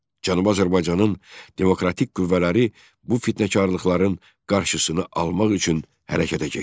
Cənubi Azərbaycanın demokratik qüvvələri bu fitnəkarlıqların qarşısını almaq üçün hərəkətə keçdilər.